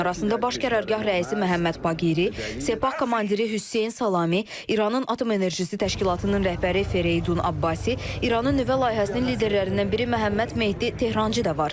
Onların arasında baş qərargah rəisi Məhəmməd Baqiri, Sepah komandiri Hüseyn Salami, İranın atom enerjisi təşkilatının rəhbəri Fereydun Abbasi, İranın nüvə layihəsinin liderlərindən biri Məhəmməd Mehdi Tehrançı da var.